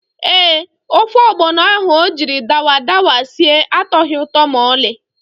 Ee, ofe ọgbọnọ ahụ o jiri dawadawa sie atọghị ụtọ ma ọlị.